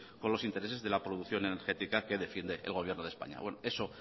con los intereses de la producción energética que defiende el gobierno de españa eso